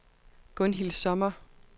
Gunhild Sommer